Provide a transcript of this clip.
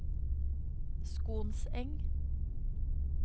Skonseng